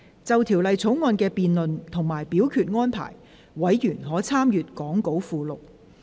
就《條例草案》的辯論及表決安排，委員可參閱講稿附錄。